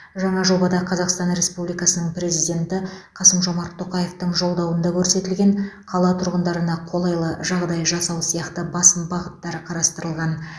жаңа жобада қазақстан республикасының президенті қасым жомарт тоқаевтың жолдауында көрсетілген қала тұрғындарына қолайлы жағдай жасау сияқты басым бағыттары қарастырылған